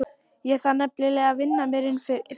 Ég þarf nefnilega að vinna mér inn fyrir honum.